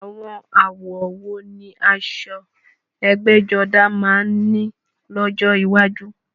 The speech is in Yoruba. Àwọn àwọ̀ wo ni aṣọ ẹgbẹ́jọdá máa ní lọ́jọ́ iwájú?